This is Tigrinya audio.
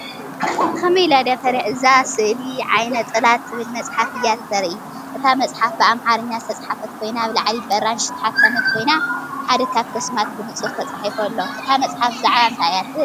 እዛ ስእሊ “ዓይነ ጥላ” እትብል መጽሓፍ እያ እተርኢ። እታ መጽሓፍ ብኣምሓርኛ ዝተጻሕፈት ኮይና ኣብ ላዕሊ ብኣራንሺ ዝተሓትመት ኮይና ሓደ ካብቲ ኣስማት ብንጹር ተጻሒፉ ኣሎ። እታ መጽሓፍ ብዛዕባ እንታይ እያ ትብል?